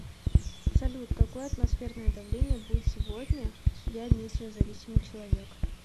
салют какое атмосферное давление будет сегодня я метеозависимый человек